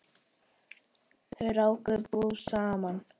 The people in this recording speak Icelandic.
Þau ráku búð saman.